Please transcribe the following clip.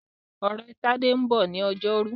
Ọ̀rẹ́ Tádé ń bọ̀ ní ọjọ́rú.